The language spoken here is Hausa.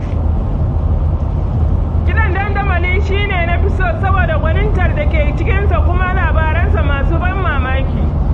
Kiɗan dandamali shi na fi so saboda gwanintar dake cikinsa da kuma labaransa masu ban mamaki.